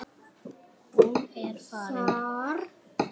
Hún er farin.